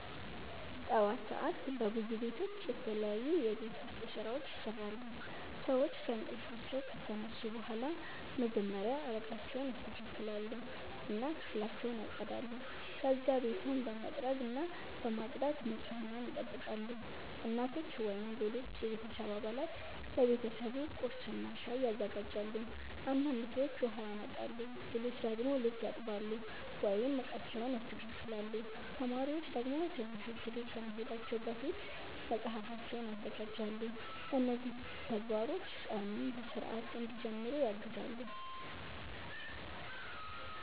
ጠዋት ሰዓት በብዙ ቤቶች የተለያዩ የቤት ውስጥ ስራዎች ይሰራሉ። ሰዎች ከእንቅልፋቸው ከተነሱ በኋላ መጀመሪያ አልጋቸውን ያስተካክላሉ እና ክፍላቸውን ያጸዳሉ። ከዚያ ቤቱን በመጥረግና በማጽዳት ንጽህናን ይጠብቃሉ። እናቶች ወይም ሌሎች የቤተሰብ አባላት ለቤተሰቡ ቁርስና ሻይ ያዘጋጃሉ። አንዳንድ ሰዎች ውሃ ያመጣሉ፣ ሌሎች ደግሞ ልብስ ያጥባሉ ወይም ዕቃዎችን ያስተካክላሉ። ተማሪዎች ደግሞ ትምህርት ቤት ከመሄዳቸው በፊት መጽሐፋቸውን ያዘጋጃሉ። እነዚህ ተግባሮች ቀኑን በሥርዓት እንዲጀምሩ ያግዛሉ።